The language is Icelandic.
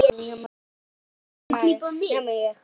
Nema ég.